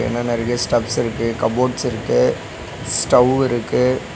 இங்க நெறைய ஸ்டெப்ஸ் இருக்கு கப்போர்ட்ஸ் இருக்கு ஸ்டவ் இருக்கு.